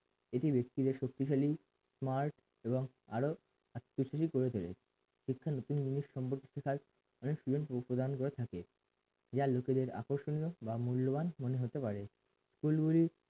এটি ব্যক্তিদের শক্তিশালী মার্গ এবং আরো আত্মীয়শালী করে তোলে শিক্ষার নতুন জিনিস সম্পর্কে অনেক সুযোগ্য উপদান করে থাকে ইহা লোকেদের আকর্ষণীয় বা মূল্যবান মনে হতে পারে